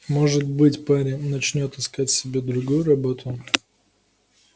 может быть парень начнёт искать себе другую работу